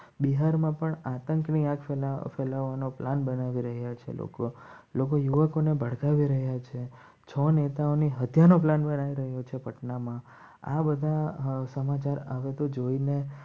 બિહારમાં પણ આતંકવાદ ફેલાવવાનો પ્લાન બનાવી રહ્યા છે. છ નેતાઓની હત્યાનો પ્લાન આવી રહ્યો છે. પટનામાં આ બધા સમાચાર આવે તો જોઈને